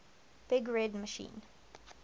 big red machine